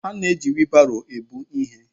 A na-eji wiilbaro ebu ihe.